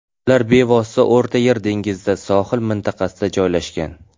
Ular bevosita O‘rta Yer dengizida, Sohil mintaqasida joylashgan.